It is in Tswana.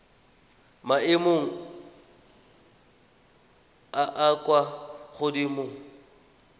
maemong a a kwa godimo